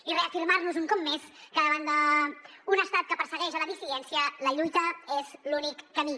i reafirmar nos un cop més que davant d’un estat que persegueix la dissidència la lluita és l’únic camí